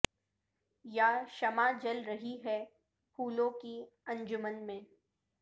یا شمع جل رہی ہے پھولوں کی انجمن میں